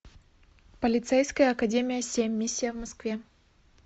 полицейская академия семь миссия в москве